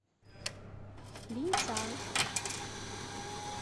линьцан